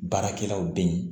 Baarakɛlaw bɛ yen